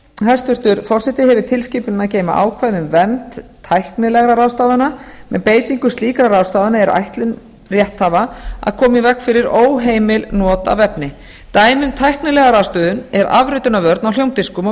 hæstvirtur forseti hefur tilskipunin að geyma ákvæði um ber tæknilegra ráðstafana með beitingu slíkra ráðstafana er ætlun rétthafa að koma í veg fyrir óheimil not af efni dæmi um tæknilega ráðstöfun er afritunarvörn á hljómdiskum og